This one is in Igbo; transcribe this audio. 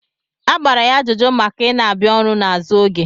A gbara ya ajụjụ maka ị na-abịa ọrụ n'azụ oge.